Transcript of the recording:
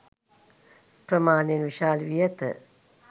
ප්‍රමාණයෙන් විශාල වී ඇත